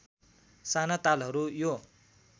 साना तालहरू यो